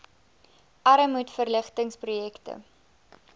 armoedverlig tings projekte